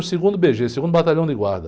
No segundo bê-gê, o segundo Batalhão de Guarda.